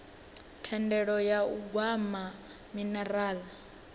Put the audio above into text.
thendelo ya u gwa minerala